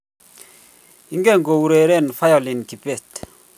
ingen koureren violin kibet